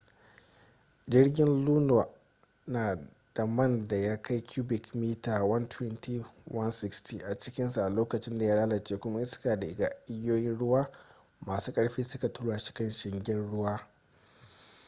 jirgin luno na da man da ya kai cubic mita 120-160 a cikinsa a lokacin da ya lalace kuma iska da igiyoyin ruwa masu ƙarfi suka tura shi kan shingen ruwa